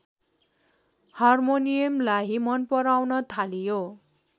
हार्मोनियमलाई मनपराउन थालियो